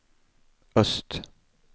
öst